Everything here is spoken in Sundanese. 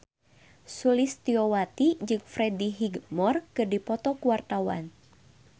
Sulistyowati jeung Freddie Highmore keur dipoto ku wartawan